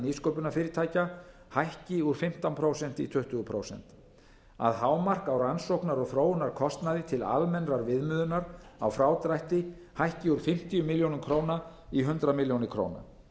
nýsköpunarfyrirtækja hækki úr fimmtán prósent í tuttugu prósent að hámark á rannsóknar og þróunarkostnaði til almennrar viðmiðunar á frádrætti hækki úr fimmtíu milljónir króna í hundrað milljónir króna